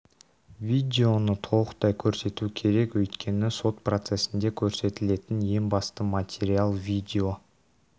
видеоны толықтай көрсету керек өйткені сот процесінде көрсетілетін ең басты материал видео